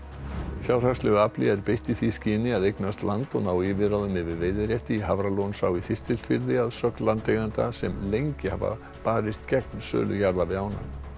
fjárhagslegu afli er beitt í því skyni að eignast land og ná yfirráðum yfir veiðirétti í Hafralónsá í Þistilfirði að sögn landeigenda sem lengi hafa barist gegn sölu jarða við ána